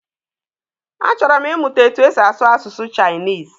A chọrọ m ịmụta etu esi asụ asụsụ Chinese.